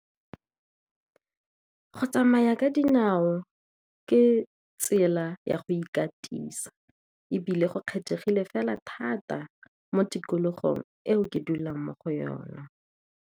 Go tsamaya ka dinao ka tsela ya go ikatisa, ebile go kgethegile fela thata mo tikologong eo ke dulang mo go yona.